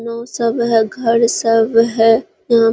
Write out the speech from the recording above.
नाव सब है घर सब है यहां।